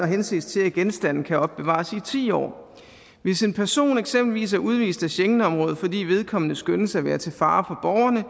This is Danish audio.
henses til at genstande kan opbevares i ti år hvis en person eksempelvis er udvist af schengenområdet fordi vedkommende skønnes at være til fare for